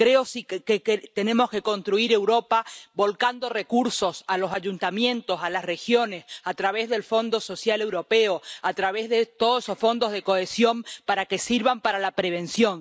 Creo que tenemos que construir Europa volcando recursos en los ayuntamientos, en las regiones, a través del Fondo Social Europeo, a través de todos esos fondos de cohesión, para que sirvan para la prevención.